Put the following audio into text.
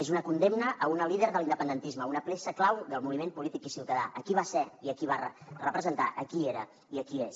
és una condemna a una líder de l’independentisme una peça clau del moviment polític i ciutadà a qui va ser a qui va representar a qui era i a qui és